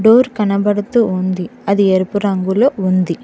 Door కనబడుతూ ఉంది అది ఎరుపు రంగులొ ఉంది.